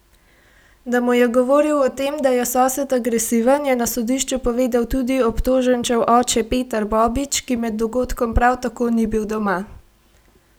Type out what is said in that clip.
Da mu je govoril o tem, da je sosed agresiven, je na sodišču povedal tudi obtoženčev oče Petar Bobić, ki med dogodkom prav tako ni bil doma.